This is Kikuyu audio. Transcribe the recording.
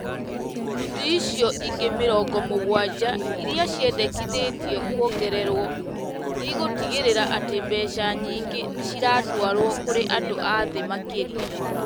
Ikundi icio ingĩ mĩrongo mũgwanja iria ciendekithĩtio kuongererwo nĩ igũtigĩrĩra atĩ mbeca nyingĩ nĩ ciratwarwo kũrĩ andũ a thĩ makĩria ,